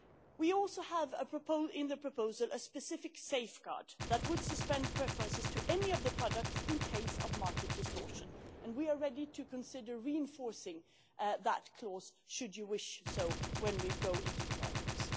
We also have in the proposal a specific safeguard that would suspend preferences to any of the products in the event of market distortion, and we are ready to consider reinforcing that clause, should you so wish, when we go into trilogue.